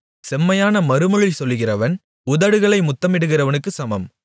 செம்மையான மறுமொழி சொல்லுகிறவன் உதடுகளை முத்தமிடுகிறவனுக்குச் சமம்